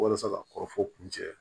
Walasa ka kɔrɔfɔ kun cɛ